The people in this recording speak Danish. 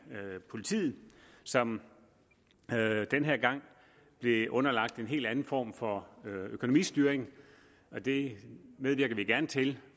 politiet som den her gang blev underlagt en helt anden form for økonomistyring det medvirker vi gerne til